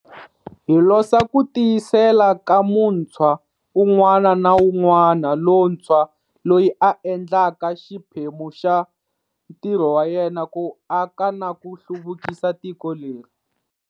Hi losa ku tiyisela ka muntshwa un'wana na un'wana lontshwa loyi a endlaka xiphemu xa ntirho wa yena ku aka na ku hluvukisa tiko leri.